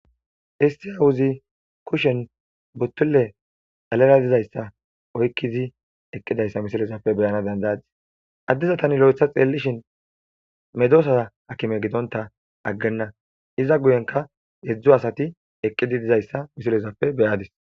Histiyawuzi kushen buttulle galala dizayssa oykkizi eqqidayssa misilezappe beyana dandadis addiza tani lo'etha xeellishin medosa akime gidonta aggenna iza guyenka edzdzu asati eqqidi dizayssa misilezappe beyadis.